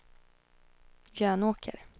Jönåker